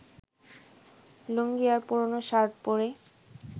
লুঙ্গি আর পুরোনো শার্ট পরে